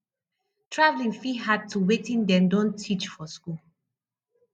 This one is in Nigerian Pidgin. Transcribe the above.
travelling fit add to wetin dem don teach for school